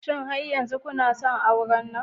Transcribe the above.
Shin har yanzu kuna son auren nan?